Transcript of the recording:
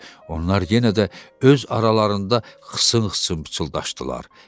Onlar yenə də öz aralarında xısın-xısın pıçıldaşdılar.